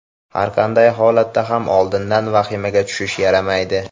Har qanday holatda ham oldindan vahimaga tushish yaramaydi.